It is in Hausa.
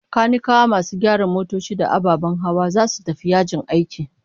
Kanikawa, masu gyara motoci da ababen hawa, zasu tafi yajin aiki